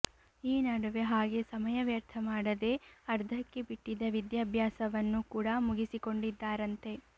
ಈ ನಡುವೆ ಹಾಗೆ ಸಮಯ ವ್ಯರ್ಥ ಮಾಡದೇ ಅರ್ಧಕ್ಕೆ ಬಿಟ್ಟಿದ್ದ ವಿಧ್ಯಾಭ್ಯಾಸವನ್ನು ಕೂಡ ಮುಗಿಸಿಕೊಂಡಿದ್ದಾರಂತೆ